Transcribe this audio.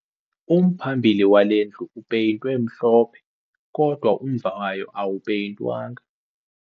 Umphambili wale ndlu upeyintwe mhlophe kodwa umva wayo awupeyintwanga